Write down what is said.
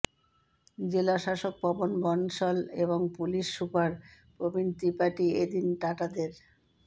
জেলাশাসক পবন বনশল এবং police super Prabin Tripathi এ দিন টাটাদের